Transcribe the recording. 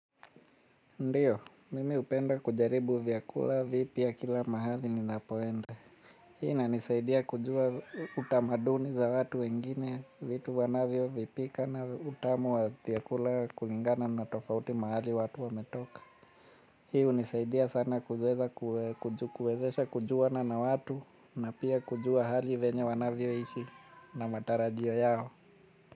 Ndiyo, mimi upenda kujaribu vyakula vipya kila mahali ninapoenda. Hii inanisaidia kujua utamaduni za watu wengine, vitu wanavyo vipika na utamu wa vyakula kulingana na tofauti mahali watu wametoka. Hi hunisaidia sana kuwezesha kujuana na watu na pia kujua hali venye wanavyo ishi na matarajio yao.